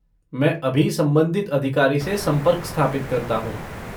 मैं अभी संबंधित अधिकारी से संपर्क स्थापित करता हूँ।